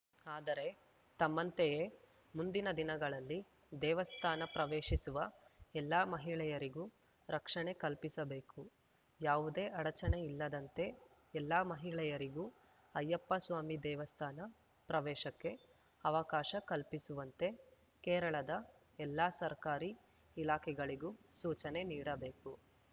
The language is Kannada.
ಆದರೆ ತಮ್ಮಂತೆಯೇ ಮುಂದಿನ ದಿನಗಳಲ್ಲಿ ದೇವಸ್ಥಾನ ಪ್ರವೇಶಿಸುವ ಎಲ್ಲ ಮಹಿಳೆಯರಿಗೂ ರಕ್ಷಣೆ ಕಲ್ಪಿಸಬೇಕು ಯಾವುದೇ ಅಡಚಣೆಯಿಲ್ಲದಂತೆ ಎಲ್ಲ ಮಹಿಳೆಯರಿಗೂ ಅಯ್ಯಪ್ಪ ಸ್ವಾಮಿ ದೇವಸ್ಥಾನ ಪ್ರವೇಶಕ್ಕೆ ಅವಕಾಶ ಕಲ್ಪಿಸುವಂತೆ ಕೇರಳದ ಎಲ್ಲ ಸರ್ಕಾರಿ ಇಲಾಖೆಗಳಿಗೂ ಸೂಚನೆ ನೀಡಬೇಕು